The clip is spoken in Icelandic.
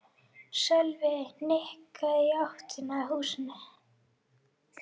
Sölvi nikkaði í áttina að húsinu.